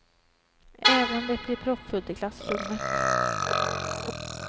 Även om det blir proppfullt i klassrummet.